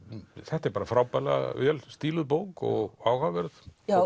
þetta er bara frábærlega vel stíluð bók og áhugaverð